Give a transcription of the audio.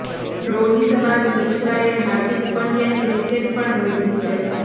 રોહિત બાદ મિશ્રાએ હાર્દિક પંડ્યાની વિકેટ પણ લીધી છે